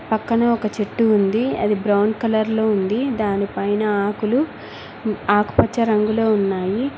పక్కన ఒక చెట్టు ఉంది అది బ్రౌన్ కలర్ లో ఉంది దానిపైన ఆకులు ఆకుపచ్చ రంగులో ఉన్నాయి.